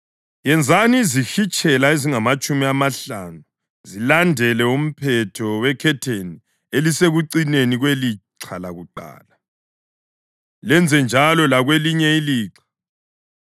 Yenzani izihitshela ezingamatshumi amahlanu zilandele umphetho wekhetheni elisekucineni kwelixha lakuqala, lenzenjalo lakwelinye ilixha.